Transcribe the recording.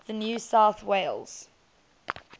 new south wales